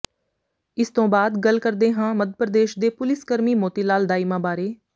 ਇਸ ਤੋਂ ਬਾਅਦ ਗੱਲ ਕਰਦੇ ਹਾਂ ਮੱਧ ਪ੍ਰਦੇਸ਼ ਦੇ ਪੁਲਿਸ ਕਰਮੀ ਮੋਤੀਲਾਲ ਦਾਇਮਾ ਬਾਰੇ